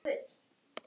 Guð, ég veit það ekki.